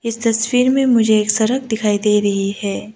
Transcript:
इस तस्वीर में मुझे एक सड़क दिखाई दे रही है।